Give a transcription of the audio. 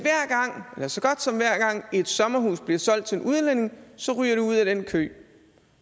så godt som hver gang et sommerhus bliver solgt til en udlænding ryger det ud af den kø